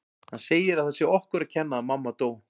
Hann segir að það sé okkur að kenna að mamma dó